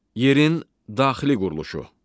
Yerin daxili quruluşu.